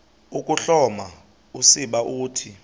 ukuhloma usiba uthi